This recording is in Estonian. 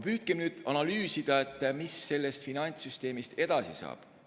Püüdke nüüd analüüsida, mis sellest finantssüsteemist edasi saab.